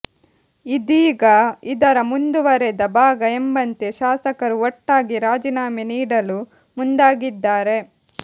ಇದೀಗ ಇದರ ಮುಂದುವರೆದ ಭಾಗ ಎಂಬಂತೆ ಶಾಸಕರು ಒಟ್ಟಾಗಿ ರಾಜೀನಾಮೆ ನೀಡಲು ಮುಂದಾಗಿದ್ದಾರೆ